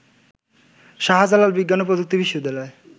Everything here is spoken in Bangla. শাহজালাল বিজ্ঞান ও প্রযুক্তি বিশ্ববিদ্যালয়